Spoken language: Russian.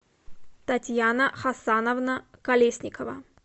татьяна хасановна колесникова